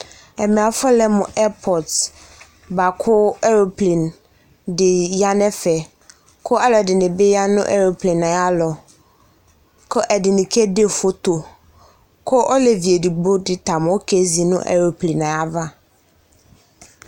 Ɛmɛ afɔlɛ mʋ ɛpɔte bʋa kʋ eroplen dɩ ya nʋ ɛfɛ, kʋ alʋ ɛdɩnɩ bɩ ya nʋ eroplen yɛ ayʋ alɔ, kʋ ɛdɩnɩ kede foto, kʋ olevi edigbo dɩ ta mʋa, okezi nʋ eroplen yɛ ava